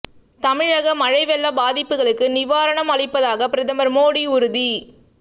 தமிழக மழை வெள்ள பாதிப்புகளுக்கு நிவாரணம் அளிப்பதாக பிரதமர் மோடி உறுதி